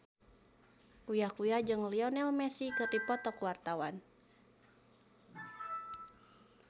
Uya Kuya jeung Lionel Messi keur dipoto ku wartawan